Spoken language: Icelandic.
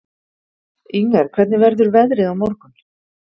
Inger, hvernig verður veðrið á morgun?